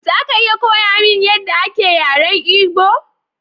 Za ka iya koya mini yadda ake yaren Igbo?